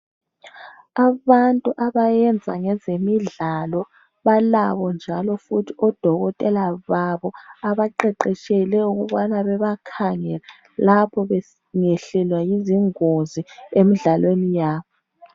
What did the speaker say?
Abantu abayenza ngezemidlalo balabo njalo futhi odokotela babo abaqeqetshelwe ukubana bebakhangele lapho bengehlelwa yizingozi emidlalweni yabo.